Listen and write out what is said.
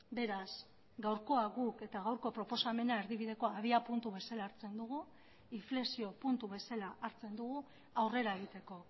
beraz gaurkoa guk eta gaurko proposamena erdibidekoa abiapuntu bezala hartzen dugu inflexio puntu bezala hartzen dugu aurrera egiteko